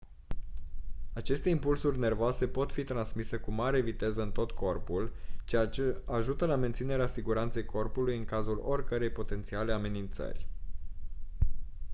aceste impulsuri nervoase pot fi transmise cu mare viteză în tot corpul ceea ce ajută la menținerea siguranței corpului în cazul oricărei potențiale amenințări